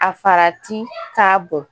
A farati k'a bon.